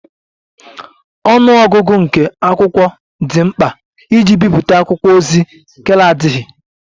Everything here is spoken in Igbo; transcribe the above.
Ọnụ ọgụgụ nke akwụkwọ dị mkpa iji bipụta akwụkwọ ozi ahụ adịghị.